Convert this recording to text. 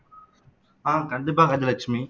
ஆஹ் கண்டிப்பா கஜலட்சுமி